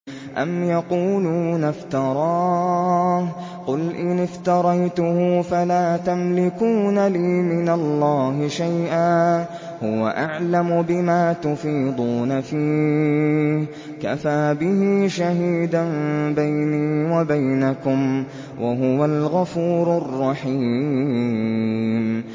أَمْ يَقُولُونَ افْتَرَاهُ ۖ قُلْ إِنِ افْتَرَيْتُهُ فَلَا تَمْلِكُونَ لِي مِنَ اللَّهِ شَيْئًا ۖ هُوَ أَعْلَمُ بِمَا تُفِيضُونَ فِيهِ ۖ كَفَىٰ بِهِ شَهِيدًا بَيْنِي وَبَيْنَكُمْ ۖ وَهُوَ الْغَفُورُ الرَّحِيمُ